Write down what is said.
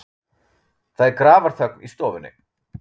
Það er grafarþögn í stofunni.